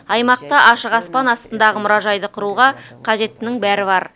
аймақта ашық аспан астындағы мұражайды құруға қажеттінің бәрі бар